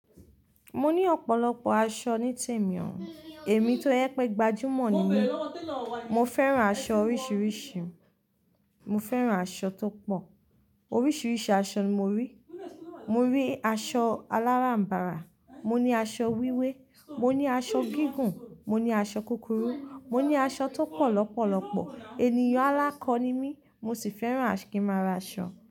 Mo ní ọ̀pọ̀lọpọ̀ aṣọ nítemi ò. Èmi tó jẹ pé gbajúmọ̀ ni mí. Mo fẹ́ràn aṣọ oríṣiríṣi. Mo fẹ́ràn aṣọ tó pọ̀. Oríṣiríṣi aṣọ ni mo rí. Mo rí aṣọ aláràm̀barà, mo ní aṣọ wíwé, mo ní aṣọ gígùn, mo ní aṣọ kúkúrú, mo ní aṣọ tó pọ̀ lọ́pọ̀lọ́pọ̀. Ènìyàn alákọ ni mí, mo sì fẹ́ràn kí ma ra aṣọ.